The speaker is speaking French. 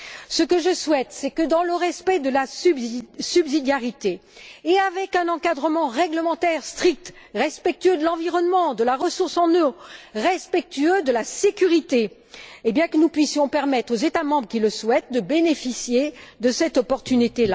Ce que je souhaite, c'est que dans le respect de la subsidiarité et avec un encadrement réglementaire strict, respectueux de l'environnement, des ressources en eau et de la sécurité, nous puissions permettre aux États membres qui le souhaitent de bénéficier de cette opportunité.